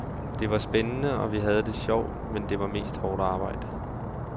Det var spændende og vi havde det sjovt, men det var mest hårdt arbejde.